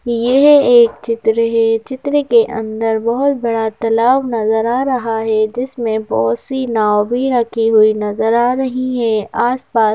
यह एक चित्र है चित्र के अंदर बहुत बड़ा तलाब नजर आ रहा है जिसमें बहुत सी नाव भी रखि हुई नजर आ रही है आसपास।